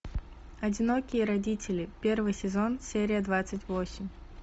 одинокие родители первый сезон серия двадцать восемь